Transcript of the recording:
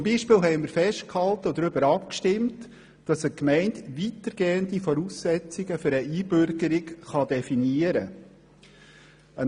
Wir haben zum Beispiel festgehalten und auch darüber abgestimmt, dass eine Gemeinde weitergehende Voraussetzungen für eine Einbürgerung definieren kann.